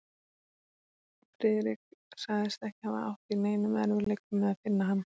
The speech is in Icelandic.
Friðrik sagðist ekki hafa átt í neinum erfiðleikum með að finna hann.